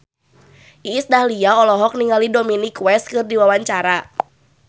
Iis Dahlia olohok ningali Dominic West keur diwawancara